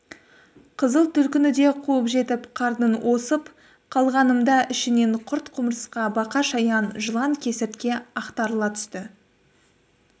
қызыл түлкіні де қуып жетіп қарнын осып қалғанымда ішінен құрт-құмырсқа бақа-шаян жылан-кесіртке ақтарыла түсті